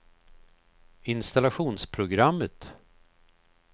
installationsprogrammet